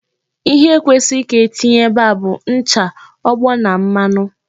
Ihe ndị kwesịrị ka e tinye ebe a bụ ncha, ogbo na mmanụ.